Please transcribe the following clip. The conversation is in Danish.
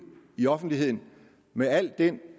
i offentligheden med al den